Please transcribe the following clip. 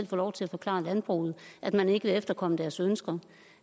få lov til at forklare landbruget at man ikke vil efterkomme deres ønsker